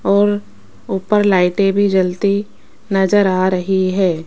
और ऊपर लाइटें भी जलती नजर आ रही है।